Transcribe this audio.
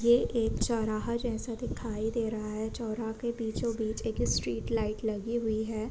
ये एक चौराहा जैसा दिखाई दे रहा है। चौरा के बीचो बीच एक स्ट्रीट लाइट लगी हुई है।